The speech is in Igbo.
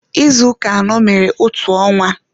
Izu ụka anọ mere otu ọnwa